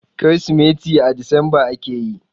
Kirsimeti a Disamba ake yi.